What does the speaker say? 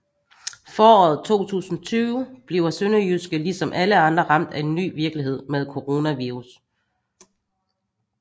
Foråret 2020 bliver SønderjyskE ligesom alle andre ramt af en ny virkelighed med coronavirus